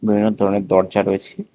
ঘরের মধ্যে অনেক দরজা রয়েছে।